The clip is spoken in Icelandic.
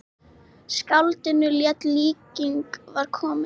Skáldinu létti, líkingin var komin.